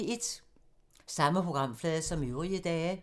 Samme programflade som øvrige dage